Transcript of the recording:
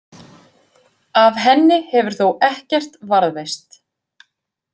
Af henni hefur þó ekkert varðveist.